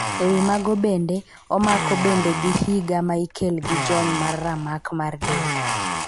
ewi mago bende ,omako bende gi higa ma ikel gi jony mar ramak mar del.